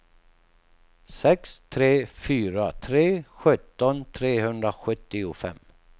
sex tre fyra tre sjutton trehundrasjuttiofem